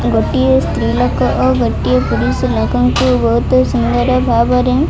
ଗୋଟିଏ ସ୍ତ୍ରୀ ଲୋକ ଓ ଗୋଟିଏ ପୁରୁଷ ଲୋକଙ୍କୁ ବହୁତୁ ସ୍ନେହ ର ଭାବରେ --